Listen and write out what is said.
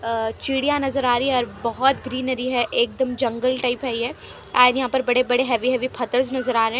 अ चिड़ियाँ नजर आ रही हैं और बहुत ग्रीनरी हैं एकदम जंगल टाइप हैं ये एंड यहाँ पर बड़े बड़े हैवी हैवी फत्तर नजर आ रहे हैं।